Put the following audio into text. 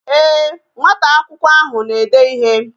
Ee, nwata akwụkwọ ahụ na-ede ịhe